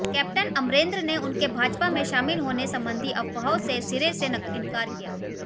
captain Amarinder ने उनके भाजपा में शामिल होने संबंधी अफवाहों से सिरे से इंकार किया